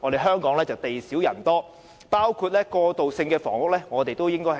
香港地少人多，我們應同時考慮過渡性房屋。